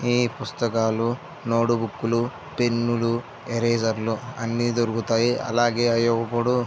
ఈ పుస్తకాలూ నోటుబుక్ లు పెన్ను లు ఈరేజర్ లు అన్ని దొరుకుతాయి. అలాగే అపుడు --